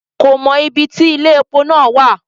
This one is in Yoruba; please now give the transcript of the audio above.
Ko mọ ibí tí ile-epo náà wa.